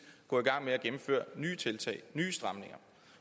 gå i gang med at gennemføre nye tiltag nye stramninger